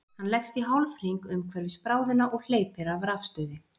Hann leggst í hálfhring umhverfis bráðina og hleypir af rafstuði.